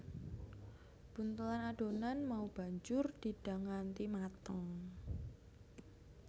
Buntelan adonan mau banjur didang nganti mateng